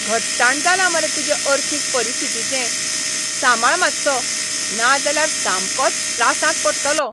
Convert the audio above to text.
घट्टाण जालां मरे तुजे अर्थीक परिस्थितीचें! सांबाळ मातसो, नाजाल्यार सामकोच त्रासांत पडटलो.